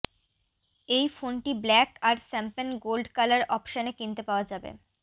এই ফোনটি ব্ল্যাক আর শ্যাম্পেন গোল্ড কালার অপশানে কিনতে পাওয়া যাবে